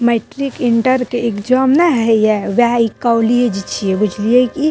metric inter के exam नै हई ये वह कॉलेज छे बुझलिये की --